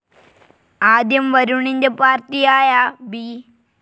ആദ്യം വരുണിന്റെ പാർട്ടിയായ ബി.